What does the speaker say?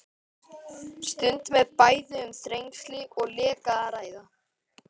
Stundum er bæði um þrengsli og leka að ræða.